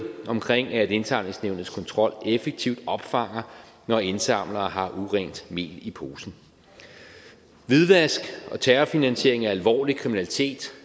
omkring at indsamlingsnævnets kontrol effektivt opfanger når indsamlere har urent mel i posen hvidvask og terrorfinansiering er alvorlig kriminalitet